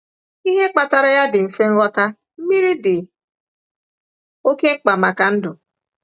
Ihe kpatara ya dị mfe nghọta: Mmiri dị oké mkpa maka ndụ.